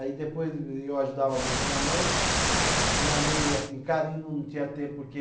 Aí depois eu ajudava muito minha mãe, minha mãe, assim, carinho, não tinha tempo, porque